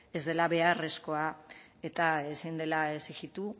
ez dela beharrezkoa eta ezin dela exijitu